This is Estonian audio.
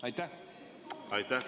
Aitäh!